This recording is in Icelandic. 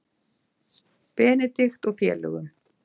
Benedikt og félögum.